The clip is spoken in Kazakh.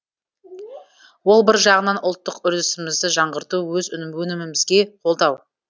ол бір жағынан ұлттық үрдісімізді жаңғырту өз өнімімізге қолдау